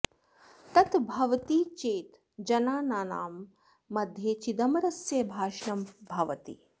तत् भवति चेत् जनानां मध्ये चिदंबरस्य भाषणं भवति